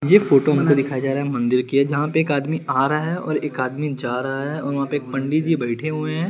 यह फोटो वहाँ पे दिखाई जा रहा है मंदिर के जहा पे एक आदमी आ रहा है और एक आदमी जा रहा है और वहाँ पे एक पंडितजी बेठे हुए है।